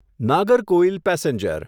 Nagercoil passenger